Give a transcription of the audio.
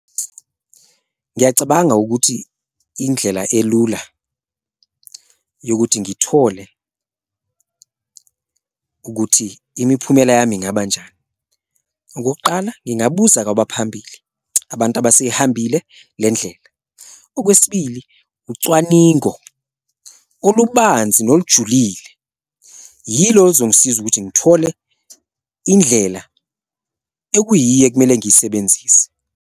Ngiyacabanga ukuthi indlela elula yokuthi ngithole ukuthi imiphumela yami ingabanjani, okokuqala, ngingabuza kwabaphambili abantu abaseyihambile le ndlela. Okwesibili, ucwaningo olubanzi nolujulile yilo oluzongisiza ukuthi ngithole indlela ekuyiyo ekumele ngiyisebenzise.